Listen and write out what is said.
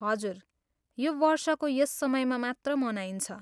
हजुर, यो वर्षको यस समयमा मात्र मनाइन्छ।